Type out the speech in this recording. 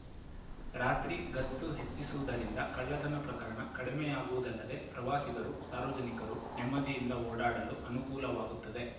ರಾತ್ರಿ ಗಸ್ತು ಹೆಚ್ಚಿಸುವುದರಿಂದ ಕಳ್ಳತನ ಪ್ರಕರಣ ಕಡಿಮೆಯಾಗುವುದಲ್ಲದೆ ಪ್ರವಾಸಿಗರು ಸಾರ್ವಜನಿಕರು ನೆಮ್ಮದಿಯಿಂದ ಓಡಾಡಲು ಅನುಕೂಲವಾಗುತ್ತದೆ